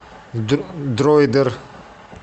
дроидер